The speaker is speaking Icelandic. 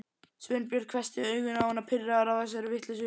Sveinbjörn hvessti augun á hana, pirraður á þessari vitleysu.